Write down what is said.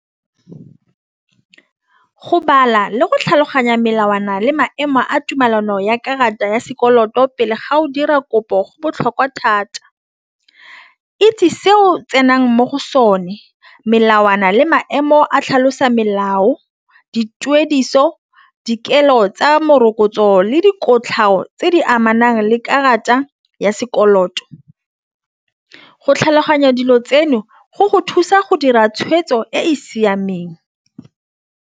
Go bala le go tlhaloganya melawana le maemo a tumelano ya karata ya sekoloto pele ga o dira kopo go botlhokwa thata itse seo tsenang mo go sone melawana le maemo a tlhalosa melao dituediso dikelo tsa morokotso le dikotlhao tse di amanang le karata ya sekoloto. Go tlhaloganya dilo tseno go go thusa go dira tshwetso e siameng.